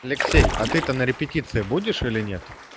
алексей а ты то на репетиции будешь или нет